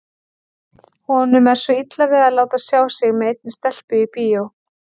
Honum er svo illa við að láta sjá sig með einni stelpu í bíó.